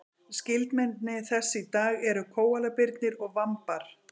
skyldmenni þess í dag eru kóalabirnir og vambar